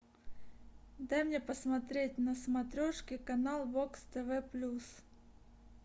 дай мне посмотреть на смотрешке канал вокс тв плюс